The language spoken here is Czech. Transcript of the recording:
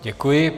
Děkuji.